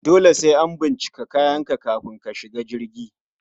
Dole sai an bincike kayanka kafin ka shiga jirgi